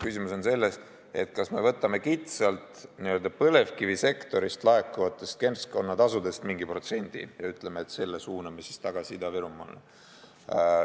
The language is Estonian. Küsimus on selles, kas me võtame kitsalt n-ö põlevkivisektorist laekuvatest keskkonnatasudest mingi protsendi ja ütleme, et selle suuname siis tagasi Ida-Virumaale.